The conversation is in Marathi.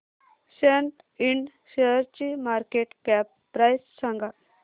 सॅट इंड शेअरची मार्केट कॅप प्राइस सांगा